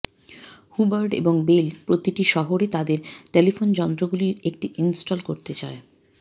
Hubbard এবং Bell প্রতিটি শহরে তাদের টেলিফোন যন্ত্রগুলির একটি ইনস্টল করতে চায়